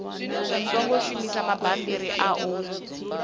songo shumisa mabammbiri a u